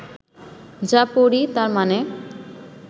যা পড়ি তার মানে